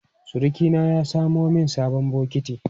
Surukina ya samo min sabon bokiti.